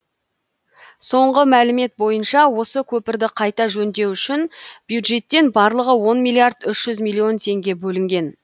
соңғы мәлімет бойынша осы көпірді қайта жөндеу үшін бюджеттен барлығы он миллиард үш жүз миллион теңге бөлінген